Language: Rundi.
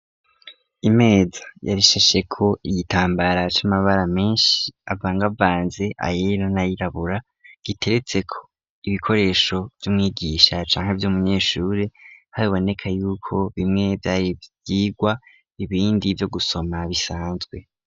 Imeza yarishashe ko ibitambara c'amabara menshi avangavanze ayera n'ayirabura giteretse ko ibikoresho vy'umwigisha canke vy'umunyeshuri haboneka yuko bimwe vyari ivyigwa ibindi vyo gusoma bisanzwe.